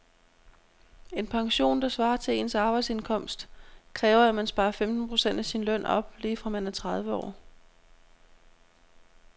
En pension, der svarer til ens arbejdsindkomst, kræver at man sparer femten procent af sin løn op lige fra man er tredive år.